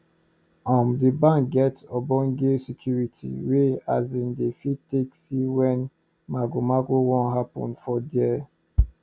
um d bank get ogbonge security wey asin dey fit take see wen mago mago wan happen for there